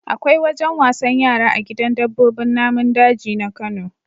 Akwai wajen wasan yara a gidan dabbobin namun daji na Kano.